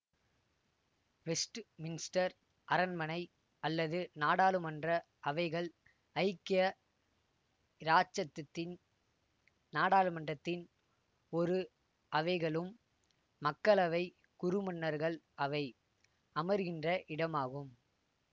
Westminster அரண்மனை அல்லது நாடாளுமன்ற அவைகள் ஐக்கிய இராச்சசத்தின் நாடாளுமன்றத்தின் இரு அவைகளும் மக்களவை குறுமன்னர்கள் அவை அமர்கின்ற இடமாகும்